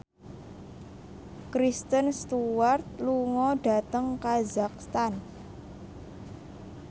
Kristen Stewart lunga dhateng kazakhstan